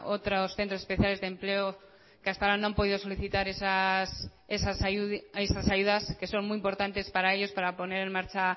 otros centros especiales de empleo que hasta ahora no han podido solicitar esas ayudas que son muy importantes para ellos para poner en marcha